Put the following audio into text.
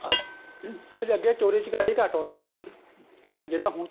ਅੱਛਾ ਅੱਛਾ ਜੀ ਅੱਗੇ ਚੋਰੀ ਚਕਾਰੀ ਘੱਟ ਹੁੰਦੀ ਸੀਗੀ ਜਿਹੜਾ ਹੁਣ ਤਾਂ